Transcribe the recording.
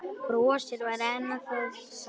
Brosið var enn það sama.